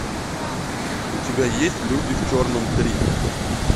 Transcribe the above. у тебя есть люди в черном три